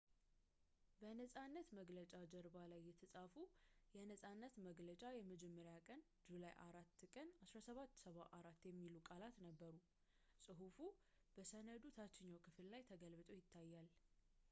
በነጻነት መግለጫ ጀርባ ላይ የተፃፉት የነፃነት መግለጫ የመጀመሪያ ቀን ጁላይ 4 ቀን 1776 የሚሉ ቃላት ነበሩ ጽሑፉ በሰነዱ ታችኛው ክፍል ላይ ተገልብጦ ይታያል